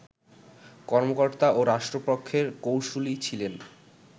কর্মকর্তা ও রাষ্ট্রপক্ষের কৌঁসুলি ছিলেন